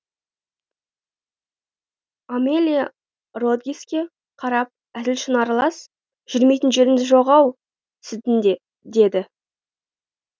амелия родригеске қарап әзіл шыны аралас жүрмейтін жеріңіз жоқ ау сіздің де деді